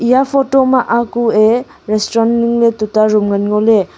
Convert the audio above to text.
eya photo ma a kue restaurant ningley tuta room ngan ngoley.